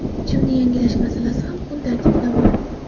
Chimni yangilash masalasi ham kun tartibidan bor.